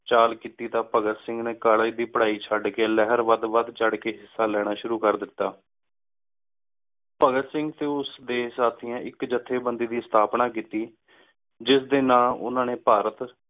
ਚਲ ਕੀਤੀ ਦਾ ਭਗਤ ਸਿੰਘ ਨੀ ਕੋਲ੍ਲੇਗੇ ਦੀ ਪਢ਼ਾਈ ਚੜ ਕ ਲੇਹਾਰ ਵੱਡ ਵੱਡ ਚਾਢ਼ ਕ ਹਿੱਸਾ ਲੇਣਾ ਸ਼ੁਰੂ ਕਰ ਦਿਤਾ ਭਾਘਾਤ ਸਿੰਘ ਟੀ ਉਸ ਡੀ ਸਾਥਿਯਾਂ ਇਕ ਜਾਥ੍ਯ ਬੰਦੀ ਦੀ ਸਥਾਪਨਾ ਕੀਤੀ ਜਿਸ ਡੀ ਨਾਮੇ ਓਹਨਾ ਨੀ ਭਾਰਤ